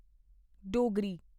Dogri